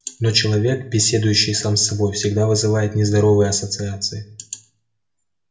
но человек беседующий сам с собой всегда вызывает нездоровые ассоциации